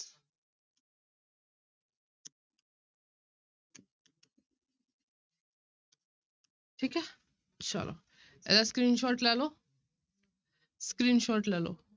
ਠੀਕ ਹੈ ਚਲੋ ਇਹਦਾ screenshot ਲੈ ਲਓ screenshot ਲੈ ਲਓ।